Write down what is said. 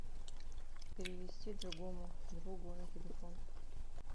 перевести другому другу на телефон